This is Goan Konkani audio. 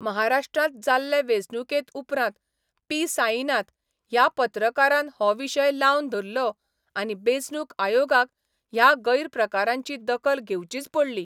महाराष्ट्रांत जाल्ले वेंचणुके उपरांत पी साईनाथ ह्या पत्रकारान हो विशय लावन धरलो आनी बेंचणूक आयोगाक ह्या गैरप्रकारांची दखल घेवचीच पडली.